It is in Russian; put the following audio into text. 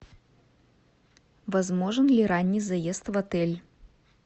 возможен ли ранний заезд в отель